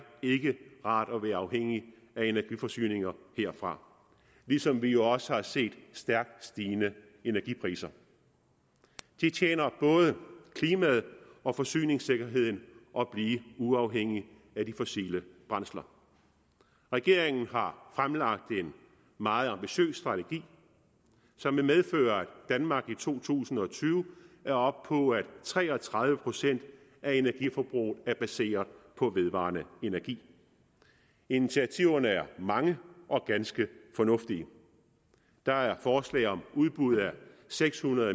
rart at være afhængig af energiforsyninger herfra ligesom vi jo også har set stærkt stigende energipriser det tjener både klimaet og forsyningssikkerheden at blive uafhængig af de fossile brændsler regeringen har fremlagt en meget ambitiøs strategi som vil medføre at danmark i to tusind og tyve er oppe på at tre og tredive procent af energiforbruget er baseret på vedvarende energi initiativerne er mange og ganske fornuftige der er forslag om udbud af seks hundrede